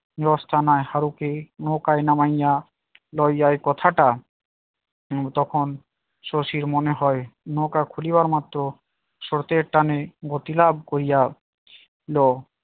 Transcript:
ফারুকে নৌকায় নামাইয়া লইয়াই কথাটা তখন শশীর মনে হয় নৌকা খুলি বার মাত্র স্রোতের টানে গতি লাভ করিয়া লো